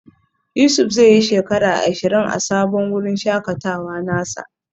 Yusuf zai yi shekara ashirin a sabon wurin shakatawa nasa.